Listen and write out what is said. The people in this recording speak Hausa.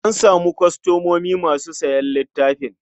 An samu kwastomomi masu sayan littafin.